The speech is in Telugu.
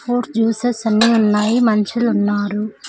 ఫోర్ జ్యూస్సెస్ అన్ని ఉన్నాయి మనుషులు ఉన్నారు.